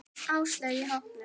Áslaugu í hópnum.